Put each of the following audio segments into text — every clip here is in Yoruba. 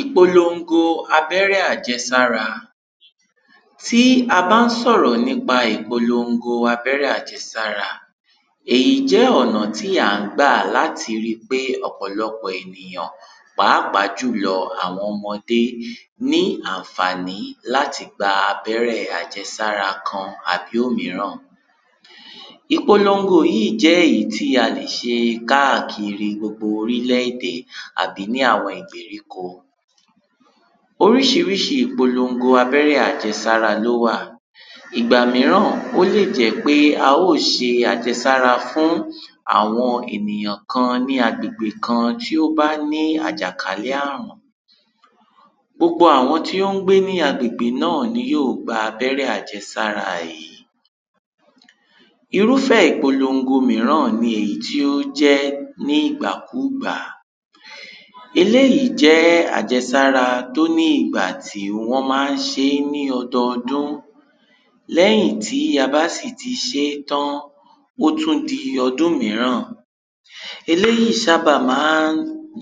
ìpolongo abẹ́rẹ́ àjẹsára. tí a bán sọ̀rọ̀ nípa ìpolongo abẹ́rẹ́ àjẹsára, èyí jẹ́ ọ̀nà tí à á gbà láti ri pé ọ̀pọ̀lọpọ̀ ènìyàn pàápàá jùlọ àwọn ọmọdé ní ànfàní láti gba abẹ́rẹ àjẹsára kan àbí òmíràn. ìpolongo yíì í jẹ́ èyí tí a lè ṣe káàkiri gbo orílẹ́-èdè àbí ní àwọn ìgbèríko. oríṣiríṣi ìpolongo abẹ́rẹ́ àjẹsára ló wà. ìgbà míràn ó lè jẹ́ pé a ó ṣe àjẹsára fún àwọn ènìyàn kan ní agbègbè kan tí ó bá ní àjàkálẹ̀ àrùn. gbogbo àwọn tí ó ń gbé ni agbègbè náà ni yíò gba abẹ́rẹ́ àjẹsára yìí. irúfẹ́ ìpolongo míràn ni èyí tó jẹ́ ní ìgbàkúgbà. eléyìí jẹ́ àjẹsára tó ní ìgbà tí wọ́n maá ṣeé ní ọdudún, lẹ́yìn tí a bá sì ti ṣé tán, ó tún di ọdún míràn. eléyìí sábà maá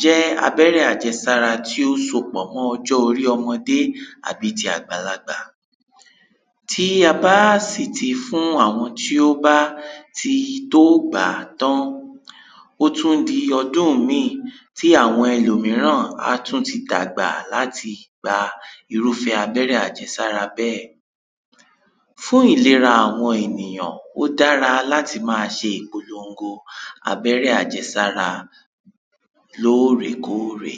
jẹ́ abẹ́rẹ́ àjẹsára tí ó sopọ̀ mọ́ ọjọ́ orí ọmọdẹ́ àbí ti àgbàlagbà. tí a bá sì ti fún àwọn tí ó bá ti tó gbàá tán, ó tún di ọdún míì tí àwọn ẹlòmíràn a tún ti dàgbà láti gba irúfẹ́ abẹ́rẹ́ àjẹsára bẹ́ẹ̀. fún ìlera àwọn ènìyàn, ó dára láti máa ṣe ìpolongo abẹ́rẹ́ àjẹsára lóòrèkórè.